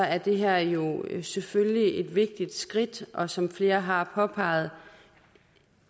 er det her jo selvfølgelig et vigtigt skridt og som flere har påpeget